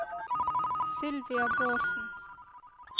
Sylvia Bårdsen